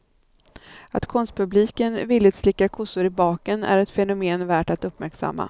Att konstpubliken villigt slickar kossor i baken är ett fenomen värt att uppmärksamma.